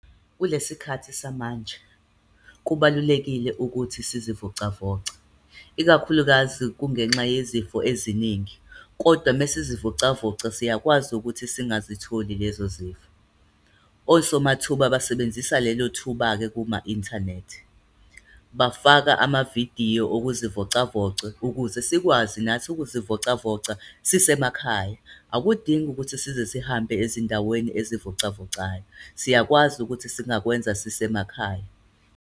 Kule sikhathi samanje, kubalulekile ukuthi sizivocavoce, ikakhulukazi kungenxa yezifo eziningi. Kodwa mesizivocavoca, siyakwazi ukuthi singazitholi lezo zifo. Osomathuba basebenzisa lelo thuba-ke kuma-inthanethi. Bafaka amavidiyo okuzivocavoca ukuze sikwazi nathi ukuzivocavoca sisemakhaya. Akudingi ukuthi size sihambe ezindaweni ezivocavocayo. Siyakwazi ukuthi singakwenza sisemakhaya.